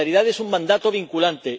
la solidaridad es un mandato vinculante.